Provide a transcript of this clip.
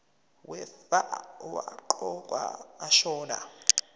wefa owaqokwa ashona